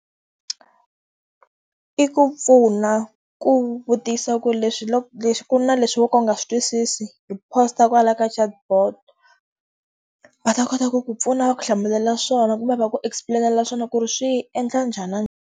I ku pfuna ku vutisa ku leswi leswi ku na leswi wo ka u nga swi twisisi, hi post-a kwalaya ka chatbot. Va ta kota ku ku pfuna va ku hlamulela swona kumbe va ku explain-ela swona ku ri swi endla njhani .